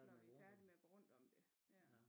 Når vi er færdige med at gå rundt om det ja